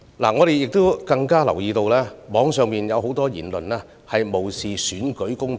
我們更留意到，網上有很多言論無視選舉公平。